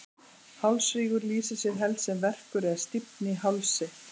hálsrígur lýsir sér helst sem verkur eða stífni í hálsi